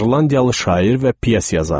İrlandiyalı şair və pyes yazarı.